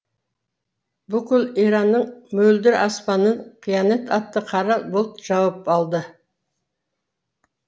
бүкіл иранның мөлдір аспанын қиянат атты қара бұлт жауып алды